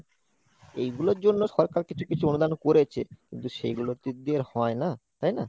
এইগুলোর জন্য সরকার কিছু কিছু অনুদান করেছে, কিন্তু সেগুলোতে হয় না তাই না?